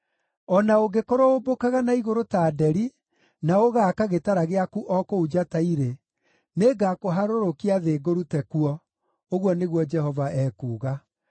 O na ũngĩkorwo ũmbũkaga na igũrũ ta nderi, na ũgaaka gĩtara gĩaku o kũu njata irĩ, nĩngakũharũrũkia thĩ ngũrute kuo,” ũguo nĩguo Jehova ekuuga.